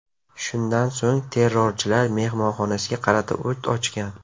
Shundan so‘ng terrorchilar mehmonxonasiga qarata o‘t ochgan.